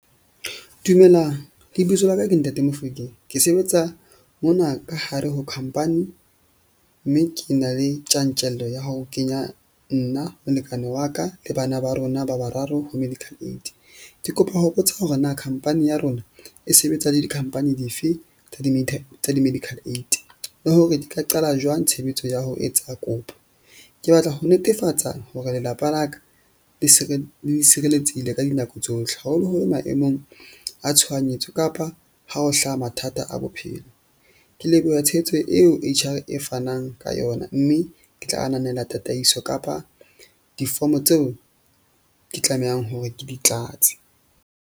Dumelang lebitso la ka ke Ntate Mofokeng. Ke sebetsa mona ka hare ho khampani, mme ke na le tjantjello ya ho kenya nna, molekane wa ka le bana ba rona ba bararo ho medical aid. Ke kopa ho botsa hore na khampani ya rona e sebetsa le di-company dife tsa di tsa di-medical aid le hore di ka qala jwang tshebetso ya ho etsa kopo. Ke batla ho netefatsa hore lelapa la ka le le sireletsehile ka dinako tsohle, haholoholo maemong a tshohanyetso kapa ha ho hlaha mathata a bophelo. Ke leboha tshehetso eo H_R e fanang ka yona mme ke tla ananela tataiso kapa difomo tseo ke tlamehang hore ke di tlatse.